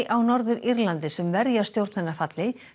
á Norður Írlandi sem verja stjórn hennar falli